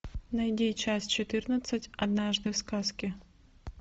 найди часть четырнадцать однажды в сказке